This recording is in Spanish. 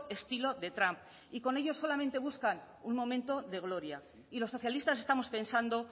estilo de trump y con ello solamente buscan un momento de gloria y los socialistas estamos pensando